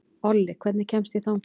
Olli, hvernig kemst ég þangað?